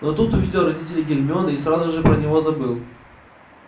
но тут увидел родителей гермионы и сразу же про него забыл